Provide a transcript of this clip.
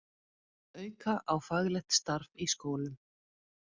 Auka á faglegt starf í skólum